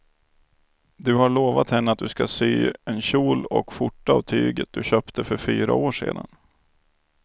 Du har lovat henne att du ska sy en kjol och skjorta av tyget du köpte för fyra år sedan.